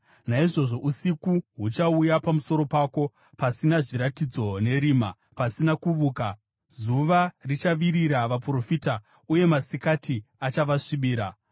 Naizvozvo usiku huchauya pamusoro pako, pasina zviratidzo, nerima, pasina kuvuka. Zuva richavirira vaprofita, uye masikati achavasvibira.